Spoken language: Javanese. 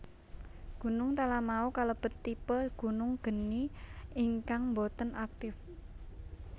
Gunung Talamau kalebet tipe gunung geni ingkang boten aktip